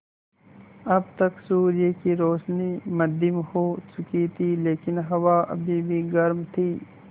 अब तक सूर्य की रोशनी मद्धिम हो चुकी थी लेकिन हवा अभी भी गर्म थी